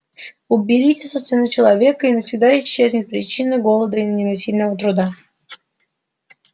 уберите со сцены человека и навсегда исчезнет причина голода и непосильного труда